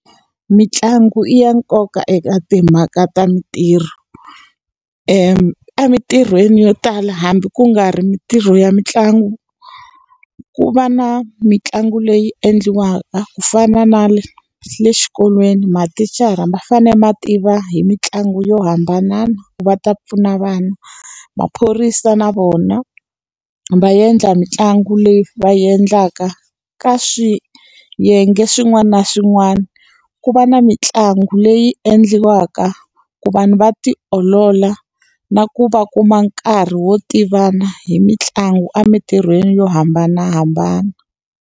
Mintlangu i ya nkoka eka timhaka ta mintirho. Emintirhweni yo tala hambi ku nga ri mintirho ya mitlangu, ku va na mitlangu leyi endliwaka. Ku fana na le le xikolweni mathicara ma fanele ma tiva hi mitlangu yo hambana ku va ta pfuna vana. Maphorisa na vona, va endla mitlangu leyi va yi endlaka ka swiyenge swin'wana na swin'wana. Ku va na mitlangu leyi endliwaka ku vanhu va ti olola na ku va kuma nkarhi wo tivana hi mitlangu emintirhweni yo hambanahambana.